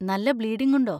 നല്ല ബ്ലീഡിങ് ഉണ്ടോ?